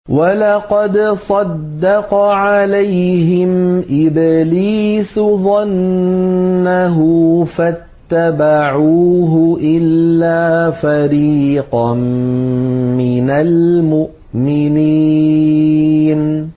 وَلَقَدْ صَدَّقَ عَلَيْهِمْ إِبْلِيسُ ظَنَّهُ فَاتَّبَعُوهُ إِلَّا فَرِيقًا مِّنَ الْمُؤْمِنِينَ